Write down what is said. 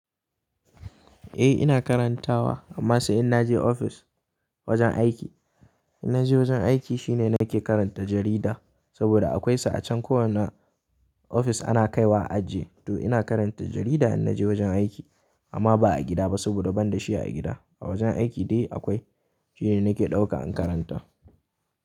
Eh ina karantawa amma sai in naje ofis wajen aiki. In naje wajen aiki shine nake karanta jarida sabida akwai su a can kowana ofis ana kai wa a ajiye. To ina karanta jarida in na je wajen aiki amma ba a gida ba sabida ban da shi a gida. A wajen aiki dai akwai shine nake dauka in karanta.